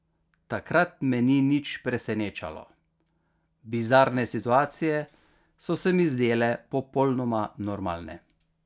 Takrat me ni nič presenečalo, bizarne situacije so se mi zdele popolnoma normalne.